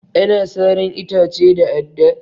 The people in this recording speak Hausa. Ana saran itace da adda.